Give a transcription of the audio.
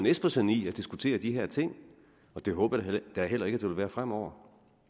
espersen i at diskutere de her ting og det håber jeg da heller ikke at der vil være fremover